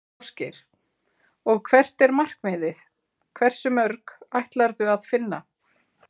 Ásgeir: Og hvert er markmiðið, hversu mörg ætlarðu að finna?